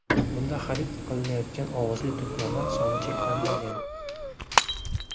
Bunda xarid qilinayotgan ovozli to‘plamlar soni cheklanmagan.